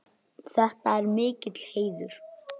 Þetta er mikill heiður.